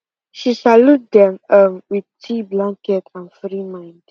she salute them um with tea blanket and free mind